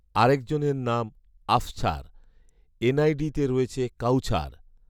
আরেকজনের নাম আফছার; এনআইডিতে রয়েছে কাউছার